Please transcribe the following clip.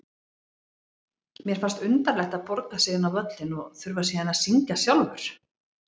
Mér fannst undarlegt að borga sig inn á völlinn og þurfa síðan að syngja sjálfur.